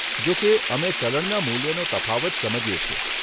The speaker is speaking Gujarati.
જો કે, અમે ચલણના મૂલ્યનો તફાવત સમજીએ છીએ.